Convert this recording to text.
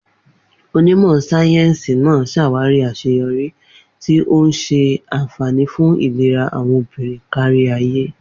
Onímọ̀ sáyẹ́sì náà ṣàwárí àṣeyọrí, tí ó ń ṣe àfààní fún ìlera àwọn obìnrin kárí ayé.